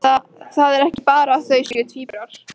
Það er ekki bara að þau séu tvíburar.